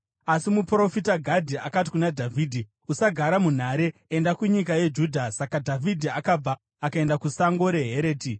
Asi muprofita Gadhi akati kuna Dhavhidhi, “Usagara munhare. Enda kunyika yeJudha.” Saka Dhavhidhi akabva akaenda kusango reHereti.